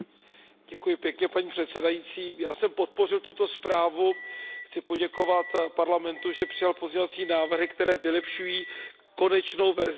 Paní předsedající, já jsem podpořil tuto zprávu, chci poděkovat Parlamentu, že přijal pozměňovací návrhy, které vylepšují konečnou verzi návrhu.